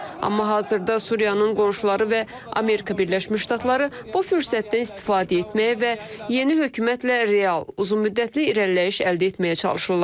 Amma hazırda Suriyanın qonşuları və Amerika Birləşmiş Ştatları bu fürsətdən istifadə etməyə və yeni hökumətlə real, uzunmüddətli irəliləyiş əldə etməyə çalışırlar.